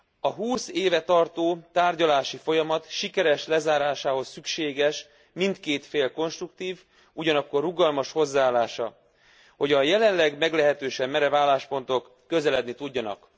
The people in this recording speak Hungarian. A húsz éve tartó tárgyalási folyamat sikeres lezárásához szükséges mindkét fél konstruktív, ugyanakkor rugalmas hozzáállása, hogy a jelenleg meglehetősen merev álláspontok közeledni tudjanak.